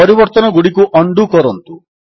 ପରିବର୍ତ୍ତନଗୁଡ଼ିକୁ undo କରନ୍ତୁ